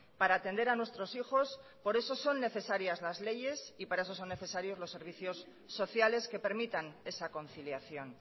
para atender a nuestros hijos por eso son necesarias las leyes y para ello son necesarios los servicios sociales que permitan esa conciliación